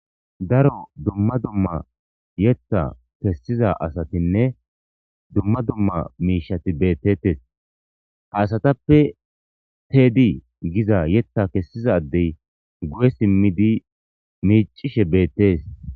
Daro dumma dumma yeththa kesiza asatinne dumma dumma mishati beteteesi ha asatappe tedi getetiza yetha kesiza adeyiguye simidi miccishe beteesi